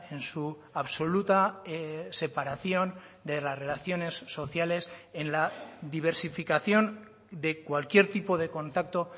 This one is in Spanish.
en su absoluta separación de las relaciones sociales en la diversificación de cualquier tipo de contacto